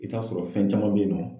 I t'a sɔrɔ fɛn caman bɛ yen nɔ